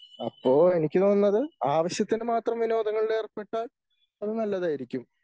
അപ്പോ എനിക്ക് തോന്നുന്നത് ആവശ്യത്തിനുമാത്രം വിനോദങ്ങളിൽ ഏർപ്പെട്ടാൽ അത് നല്ലതായിരിക്കും.